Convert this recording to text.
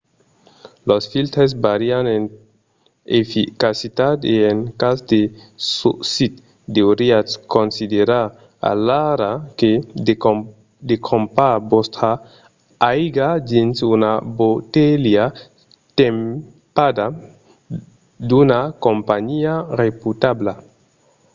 los filtres vàrian en eficacitat e en cas de socit deuriatz considerar alara de crompar vòstra aiga dins una botelha tampada d'una companhiá reputabla